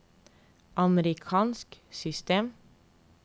amerikansk system